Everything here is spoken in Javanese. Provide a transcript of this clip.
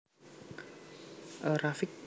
A Rafiq